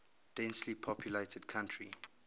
densely populated country